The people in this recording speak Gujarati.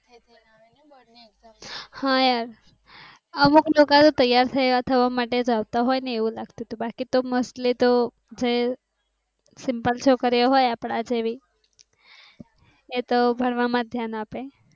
હા યાર અમુક લોકો તૈયાર થયા થવા માટે આવતાં હોય ને એવું લાગતું હતું. બાકી તો mostly તો છે. સિમ્પલ છોકરી હોય આપડા જેવી. એ તો ભણવા માં ધ્યાન આપે.